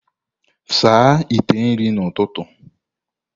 Saa ite esi nri n'ụtụtụ!